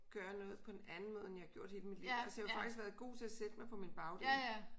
Gøre noget på en anden måde end jeg har gjort hele mit liv altså jeg har jo faktisk været god til at sætte mig på min bagdel